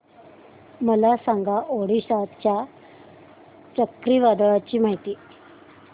मला सांगा ओडिशा च्या चक्रीवादळाची माहिती